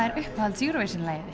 er uppáhalds Eurovision lagið